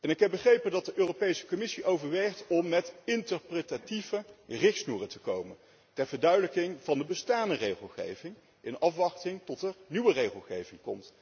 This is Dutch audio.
Ik heb begrepen dat de Europese Commissie overweegt om met interpretatieve richtsnoeren te komen, ter verduidelijking van de bestaande regelgeving in afwachting van nieuwe regelgeving.